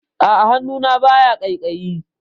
A'a, hannuna baya ƙaiƙayi.